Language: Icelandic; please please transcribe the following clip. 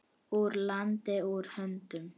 Úr landi, úr höndum.